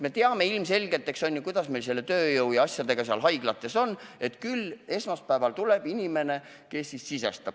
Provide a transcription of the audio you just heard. Me teame ju, kuidas meil selle tööjõu ja muude asjadega haiglates on – küll esmaspäeval tuleb inimene, kes sisestab.